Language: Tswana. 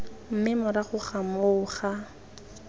mme morago ga moo ga